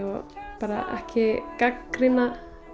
bara ekki gagnrýna